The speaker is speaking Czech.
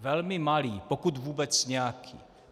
Velmi malý, pokud vůbec nějaký.